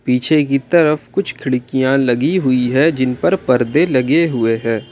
पीछे की तरफ कुछ खिड़कियां लगी हुई है जिन पर परदे लगे हुए हैं।